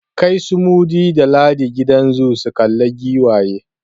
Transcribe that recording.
Kai su Mudi da Ladi gidan zoo su kalla giwaye!